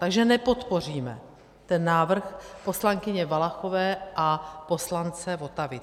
Takže nepodpoříme ten návrh poslankyně Valachové a poslance Votavy.